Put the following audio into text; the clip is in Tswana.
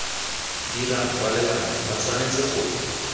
dirang kwalelano ba tshwanetse go